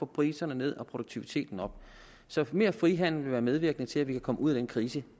priserne ned og produktiviteten op så mere frihandel vil være medvirkende til at vi kan komme ud af den krise